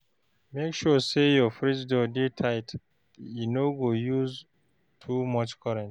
Make sure sey your fridge door dey tight, e no go use too much current.